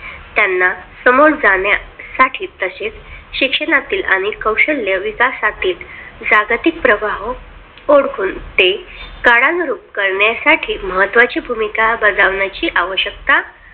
त्यांना समोर जाण्यासाठी तसेच शिक्षणातील आणि कौशल्य विकासातील जागतिक प्रवाह ओळखून ते काळानुरूप करण्यासाठी महत्त्वाची भूमिका बजावण्याची आवश्यकता